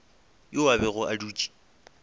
yo a bego a dutše